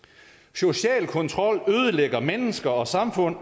social kontrol ødelægger mennesker og samfund